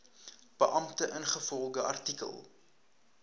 beampte ingevolge artikel